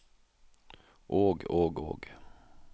og og og